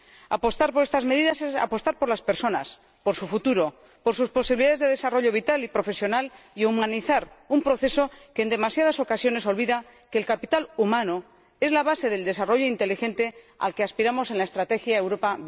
Apostar por estas medidas es apostar por las personas, por su futuro, por sus posibilidades de desarrollo vital y profesional y humanizar un proceso que, en demasiadas ocasiones, olvida que el capital humano es la base del desarrollo inteligente al que aspiramos en la Estrategia Europa